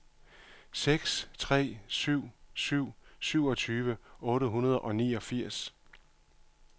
seks tre syv syv syvogtyve otte hundrede og niogfirs